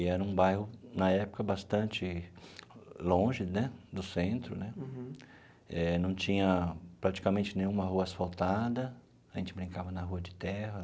E era um bairro, na época, bastante longe né do centro né, eh não tinha praticamente nenhuma rua asfaltada, a gente brincava na rua de terra.